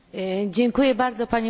Panie Przewodniczący!